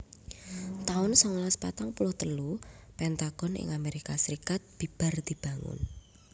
taun songolas patang puluh telu Pentagon ing Amerika Serikat bibar dibangun